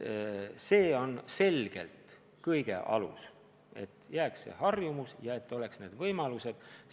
See on selgelt kõige alus, et jääks liikumisharjumus ja et oleks vajalikud võimalused.